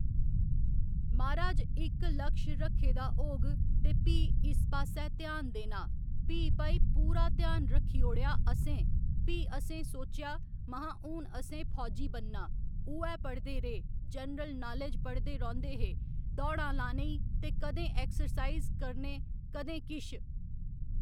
म्हाराज इक्क लक्ष्य रक्खे दा होग ते भी इस पास्सै ध्यान देना भी भई पूरा ध्यान रक्खी ओड़ेआ असें भी असें सोचेआ महां हू'न असें फौजी बनना उ'ऐ पढ़दे रेह् जनरल नालेज पढ़दे रौंह्‌दे हे दौड़ां लानै ई ते कदें ऐक्सर्साइज करने कदें किश